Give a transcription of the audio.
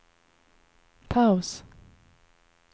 paus